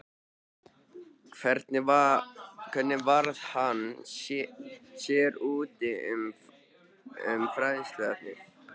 Hvernig varð hann sér úti um fræðsluefnið?